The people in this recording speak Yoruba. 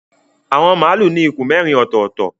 Awọn malu ní ikùn mérin ototo.